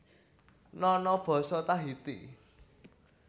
Nono basa Tahiti